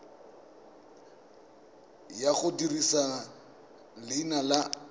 ya go dirisa leina la